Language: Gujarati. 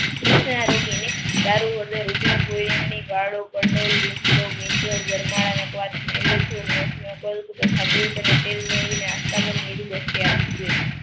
દારૂ દૂધ અને તેલ મેળવીને આસ્થા